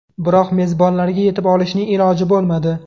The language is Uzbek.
Biroq mezbonlarga yetib olishning iloji bo‘lmadi.